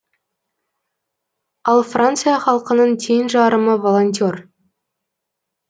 ал франция халқының тең жарымы волонтер